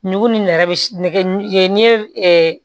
Nugu ni nɛrɛ be nɛgɛ n ye